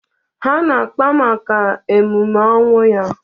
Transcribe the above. Ha na-akpa maka emume ọnwụ ya.